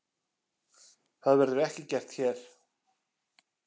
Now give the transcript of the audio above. Það verður ekki gert hér.